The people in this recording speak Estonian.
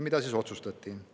Mida siis otsustati?